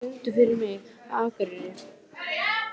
Ósvífur, syngdu fyrir mig „Á Akureyri“.